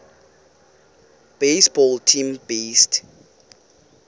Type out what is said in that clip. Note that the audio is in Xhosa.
baseball team based